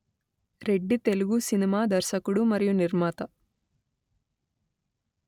Reddy Telugu cinema దర్శకుడు మరియు నిర్మాత